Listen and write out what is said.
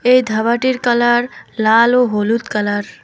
এই ধাবাটির কালার লাল ও হলুদ কালার ।